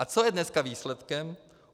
A co je dneska výsledkem?